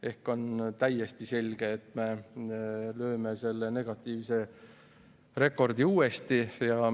Ehk on täiesti selge, et me püstitame uuesti negatiivse rekordi.